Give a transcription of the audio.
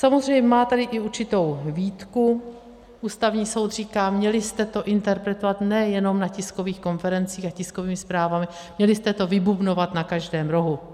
Samozřejmě tady má i určitou výtku, Ústavní soud říká: Měli jste to interpretovat nejenom na tiskových konferencích a tiskovými zprávami, měli jste to vybubnovat na každém rohu.